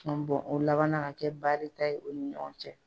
o labanna ka kɛ baarita ye o ni ɲɔgɔn cɛ.